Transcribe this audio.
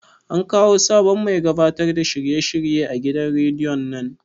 An kawo sabon mai gabatar da shirye shirye a gidan rediyon nan?